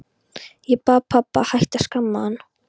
Ég bað pabba að hætta að skamma hann.